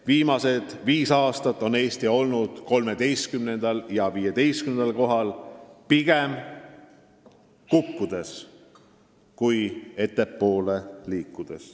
Viimased viis aastat on Eesti olnud 13.–15. kohal ja pigem kukub seal kui liigub ettepoole.